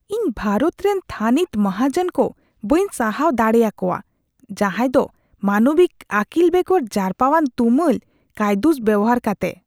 ᱤᱧ ᱵᱷᱟᱨᱚᱛ ᱨᱮᱱ ᱛᱷᱟᱹᱱᱤᱛ ᱢᱟᱦᱟᱡᱚᱱ ᱠᱚ ᱵᱟᱹᱧ ᱥᱟᱦᱟᱣ ᱫᱟᱲᱮᱭᱟ ᱠᱚᱣᱟ ᱡᱟᱦᱟᱭ ᱫᱚ ᱢᱟᱱᱚᱵᱤᱠ ᱟᱹᱠᱤᱞ ᱵᱮᱜᱚᱨ ᱡᱟᱨᱯᱟᱣᱟᱱ ᱛᱩᱢᱟᱹᱞ ᱠᱟᱹᱭᱫᱩᱥ ᱵᱮᱣᱦᱟᱨ ᱠᱟᱛᱮ ᱾